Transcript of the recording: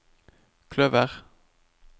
kløver